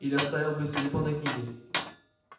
или оставил бы в телефонной книге